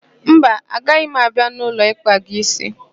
Mba, agaghị m abịa n'ụlọ ịkpa gị ísí.